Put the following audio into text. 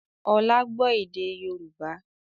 Ọlá gbọ́ èdè Yorùbá